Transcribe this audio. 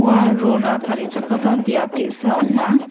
rona tarichakgipa biap ge·sa ong·a.